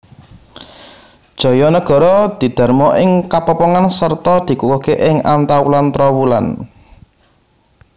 Jayanegara didharma ing Kapopongan sarta dikukuhké ing Antawulan Trowulan